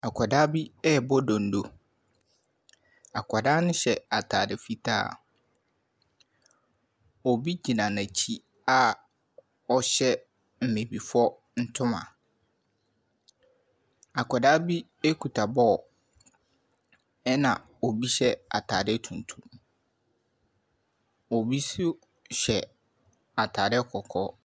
Akwadaa bi rebɔ donno. Akwadaa no hyɛ ataade fitaa. Obi gyina n’akyi a ɔhyɛ Abibifoɔ ntoma. Akwadaa bi kuta ball ɛna obi hyɛ ataade tuntum. Obi nso hyɛ ataade kɔkɔɔ.